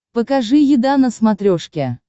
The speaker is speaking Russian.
покажи еда на смотрешке